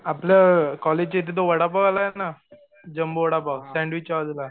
आपलं कॉलेजच्या इथं तो वडापाववाला ये ना जंबो वडापाव, सॅन्डविचच्या बाजूला